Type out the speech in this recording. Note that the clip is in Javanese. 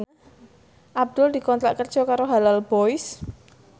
Abdul dikontrak kerja karo Halal Boys